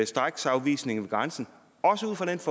straksafvisning ved grænsen